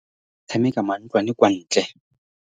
tshameka mantlwantlwane kwa ntle.